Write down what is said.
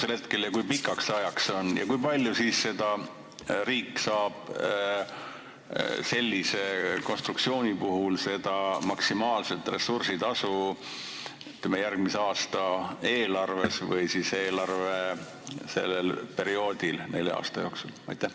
Ja kui on, siis kui pikaks ajaks ja kui palju riik sellise konstruktsiooni korral seda maksimaalset ressursitasu saab järgmise aasta eelarves või siis sellel eelarveperioodil nelja aasta jooksul?